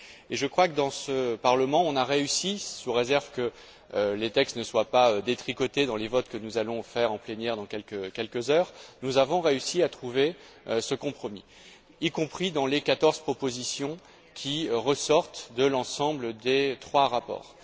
Je crois que, dans ce Parlement, on a réussi, sous réserve que les textes ne soient pas détricotés dans les votes que nous allons faire en plénière dans quelques heures, à trouver ce compromis, y compris dans les quatorze propositions qui ressortent de l'ensemble des trois rapports.